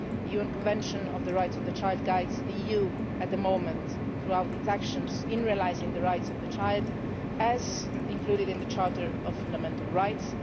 The UN Convention on the Rights of the Child guides the EU at the moment throughout its actions in realising the rights of the child, as included in the Charter of Fundamental Rights.